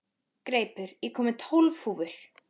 Greipur, ég kom með tólf húfur!